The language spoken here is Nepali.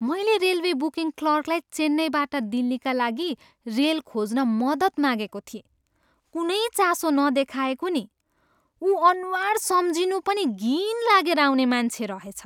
मैले रेलवे बुकिङ क्लर्कलाई चेन्नईबाट दिल्लीका लागि रेल खोज्न मद्दत मागेको थिएँ। कुनै चासो नदेखाएको नि। उ अनुहार सम्झिँनु पनि घिन लागेर आउने मान्छे रहेछ।